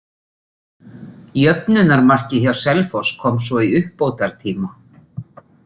Jöfnunarmarkið hjá Selfoss kom svo í uppbótartíma.